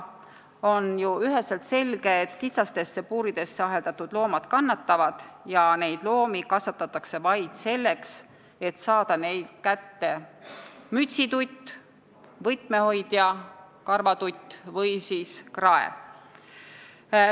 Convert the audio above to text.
On ju üheselt selge, et kitsastesse puuridesse aheldatud loomad kannatavad ja neid loomi kasvatatakse vaid selleks, et saada neilt kätte mütsitutt, võtmehoidja karvatutt või krae.